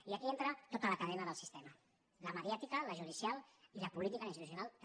i aquí entra tota la cadena del sistema la mediàtica la judicial i la política i institucional també